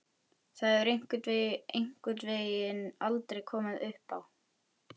Það hefur einhvern veginn aldrei komið uppá.